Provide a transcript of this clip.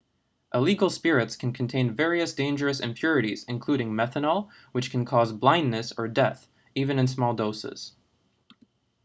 illegal spirits can contain various dangerous impurities including methanol which can cause blindness or death even in small doses